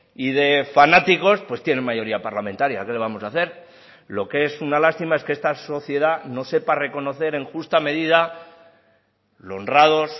y de fanáticos pues tienen mayoría parlamentaria qué le vamos a hacer lo que es una lástima es que esta sociedad no sepa reconocer en justa medida lo honrados